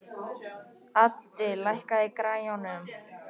Addi, lækkaðu í græjunum.